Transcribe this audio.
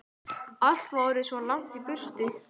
Allt var orðið svo langt í burtu.